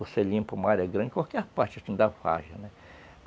Você limpa uma área grande, qualquer parte da várzea, né?